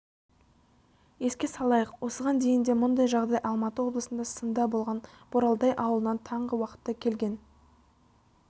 еске салайық осыған дейін де мұндай жағдай алматы облысында сында болған боралдай ауылынан таңғы уақытта келген